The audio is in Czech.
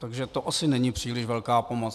Takže to asi není příliš velká pomoc.